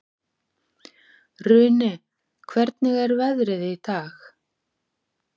Runi, hvernig er veðrið í dag?